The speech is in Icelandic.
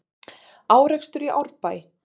Árekstur í Árbæ